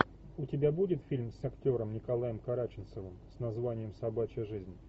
у тебя будет фильм с актером николаем караченцовым с названием собачья жизнь